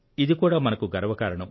ఇది కూడా మనకు గర్వకారణం